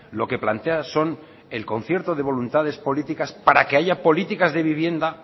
lo que plantea son el concierto de voluntades políticas para que haya políticas de vivienda